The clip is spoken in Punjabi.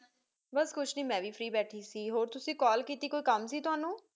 ਬਾਸ ਕੁਸ਼ ਨੀ ਮੇਂ ਵੀ ਫ੍ਰੀ ਬੇਠੀ ਸੀ ਹੋਰ ਤੁਸੀ ਕਾਲ ਕੀਤੀ ਕੋਈ ਕਾਲ ਕੀਤੀ ਤੁਹਾਨੂੰ